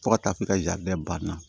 Fo ka taa fɔ ka banna